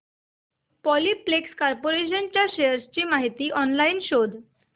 Polyplex corporation च्या shares ची माहिती ऑनलाइन शोध